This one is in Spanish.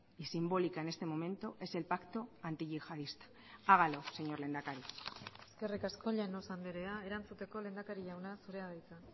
y simbólica en este momento es el pacto antiyihadista hágalo señor lehendakari eskerrik asko llanos andrea erantzuteko lehendakari jauna zurea da hitza